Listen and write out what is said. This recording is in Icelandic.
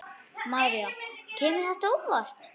María: Kemur þetta á óvart?